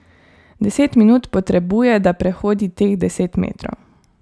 Deset minut potrebuje, da prehodi teh deset metrov.